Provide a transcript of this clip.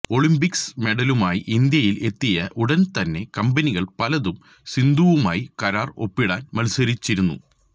Olympics മെഡലുമായി ഇന്ത്യയിൽ എത്തിയ ഉടൻ തന്നെ കമ്പനികൾ പലതും സിന്ധുവുമായി കരാർ ഒപ്പിടാൻ മത്സരിച്ചിരുന്നു